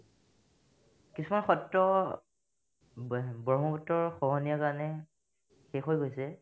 কিছুমান সত্ৰ ব্ৰ ব্ৰহ্মপুত্ৰৰ খহনিয়াৰ কাৰণে শেষ হৈ গৈছে